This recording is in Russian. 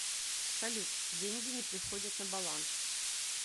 салют деньги не приходят на баланс